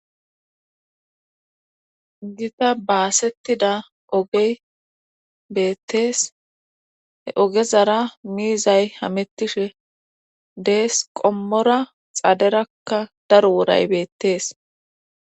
gita baasettida ogey beettees he ogezara miizay hamittishe dees qommora xaaderakka daro woray beettees